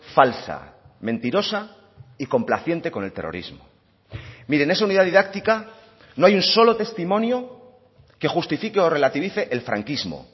falsa mentirosa y complaciente con el terrorismo mire en esa unidad didáctica no hay un solo testimonio que justifique o relativice el franquismo